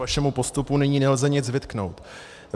Vašemu postupu nyní nelze nic vytknout.